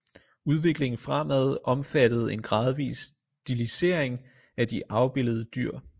Udviklingen fremad omfattede en gradvis stilisering af de afbildede dyr